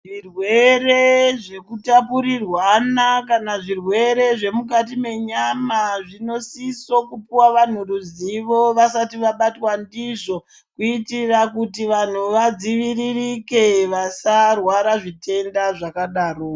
Zvirwere zvekutapurirwana kana zvirwere zvemukati menyama zvinosisa kupiwe vanhu ruzivo vasati vabatwa ndizvo kuitira kuti vanhu vadzivirirke vasarwara zvitenda zvakadaro.